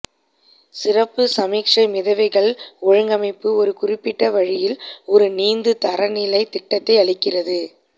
சிறப்பு சமிக்ஞை மிதவைகள் ஒழுங்கமைப்பு ஒரு குறிப்பிட்ட வழியில் ஒரு நீந்து தரநிலை திட்டத்தை அளிக்கிறது